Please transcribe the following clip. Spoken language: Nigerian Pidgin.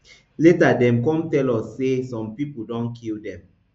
later dem come tell us say some pipo don kill dem